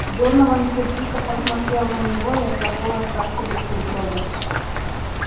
донован сердито посмотрел на него и отложил остатки бутерброда